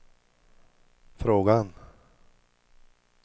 frågan